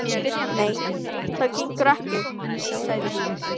Nei, það gengur ekki, sagði hún.